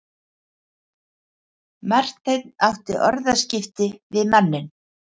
Marteinn átti orðaskipti við manninn.